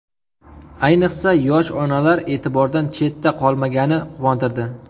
Ayniqsa, yosh onalar e’tibordan chetda qolmagani quvontirdi.